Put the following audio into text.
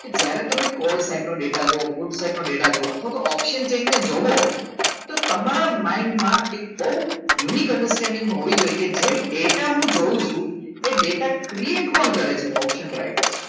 કે જ્યારે તમે કોલસાનો ડેટા જુઓ ફૂલ send ડેટા જોવા અથવા તો option ચેનને જુઓ તો તમારા mind માં એક બહુ unique sending હોવી જોઈએ કે જે ડેટા હું જોઉં છું એ ડેટા create કોણ કરે છે option રાઇટર